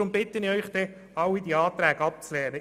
Darum bitte ich Sie, alle diese Anträge abzulehnen.